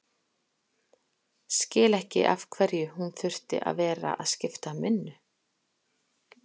Skil ekki af hverju hún þurfti að vera að skipta um vinnu.